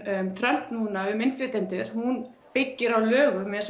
Trump núna um innflytjendur hún byggir á lögum